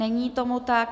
Není tomu tak.